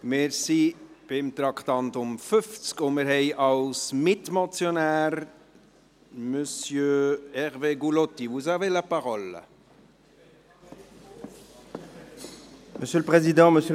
Wir sind beim Traktandum 50 verblieben und haben als Mitmotionär Monsieur Hervé Gullotti.